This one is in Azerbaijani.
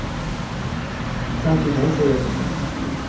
Sanki nəyisə yadına salmaq istəyirdi.